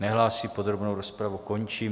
Nehlásí, podrobnou rozpravu končím.